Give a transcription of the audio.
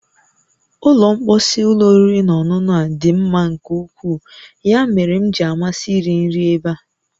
Ụlọ mposi ụlọ oriri na ọṅụṅụ a dị mma nke ukwuu, ya mere m ji amasị iri nri ebe a